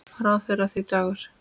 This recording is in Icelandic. Ráða þeir því, Dagur?